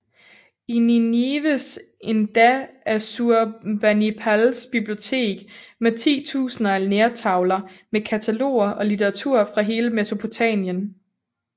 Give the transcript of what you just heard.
I Ninives endda Assurbanipals bibliotek med titusinder af lertavler med kataloger og litteratur fra hele Mesopotamien